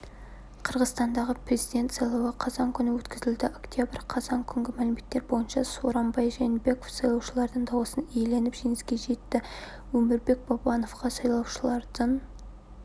қырғызстандағы президент сайлауы қазан күні өткізілді октября қазан күнгі мәліметтер бойынша сооронбай жээнбеков сайлаушылардың дауысын иеленіп жеңіске жетті өмірбек бабановқа сайлаушылардың